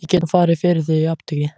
Ég get nú farið fyrir þig í apótekið.